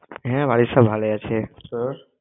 হ্যাঁ বাড়ির সব ভালই আছে। তোর?